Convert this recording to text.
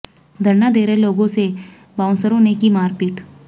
धरना दे रहे लोगों से बाऊंसरों ने की मारपीट